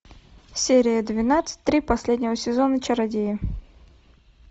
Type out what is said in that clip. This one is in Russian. серия двенадцать три последнего сезона чародеи